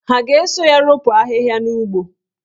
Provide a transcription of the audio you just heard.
Ha ga-eso ya ropu ahịhịa n'ugbo?